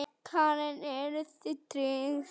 Karen: Eruð þið tryggð?